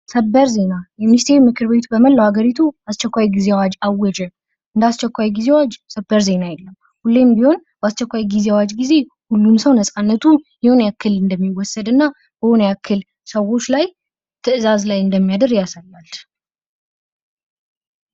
ሰበር ዜና የሚኒስቴር ምክርቤቱ በመላው ሀገሪቱ አስቸኳይ ጌዜ አዋጅ አወጀ። ለአስቸኳይ ጊዜ አዋጅ ሰበር ዜና የለም። ሁሌም ቢሆን ባስቸኳይ ጊዜ አዋጅ ጊዜ ሁሉም ሰው ነጻነቱ የሆነ ያክል እንደሚወሰድና በሆነ ያክል ሰዎች ላይ ትዕዛዝ ላይ እንደሚያድር ያሳያል።